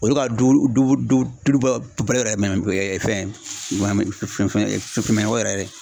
O ye ka du ba yɛrɛ yɛrɛ fɛn fɛn ye fɛn fɛn mɛ o yɛrɛ ye